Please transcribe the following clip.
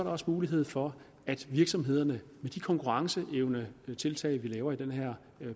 også mulighed for at virksomhederne med de konkurrenceevnetiltag vi laver i den her